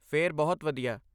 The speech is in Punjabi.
ਫਿਰ ਬਹੁਤ ਵਧੀਆ!